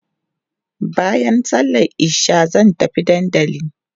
baƴan sallan isha zan tafi Dandanli